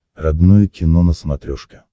родное кино на смотрешке